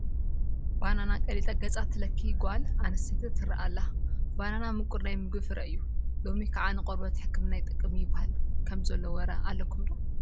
በነና ቀሊጣ ገፃ ትለክይ ጓል ኣነስተይቲ ትርአ ኣላ፡፡ በነና ምቁር ናይ ምግቢ ፍረ እዩ፡፡ ሎሚ ከዓ ንቆርበት ሕክምና ይጠቅም እዩ ይበሃል ከምዘሎ ወረ ኣለኩም ዶ?